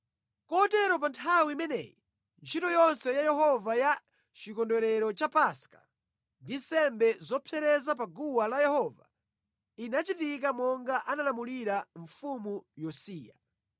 Kotero pa nthawi imeneyi ntchito yonse ya Yehova ya chikondwerero cha Paska ndi nsembe zopsereza pa guwa la Yehova inachitika monga analamulira mfumu Yosiya.